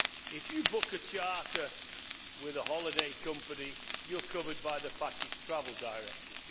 If you book a charter with a holiday company you are covered by the package travel directive.